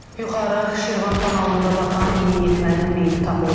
Yuxarı Şirvan kanalında batan yeniyetmənin meyidi tapılıb.